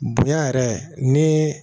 Bonya yɛrɛ ni